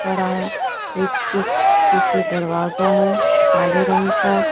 बड़ा ब्रिज के पीछे दरवाज़ा है काले रंग का।